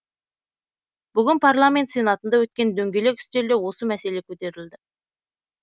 бүгін парламент сенатында өткен дөңгелек үстелде осы мәселе көтерілді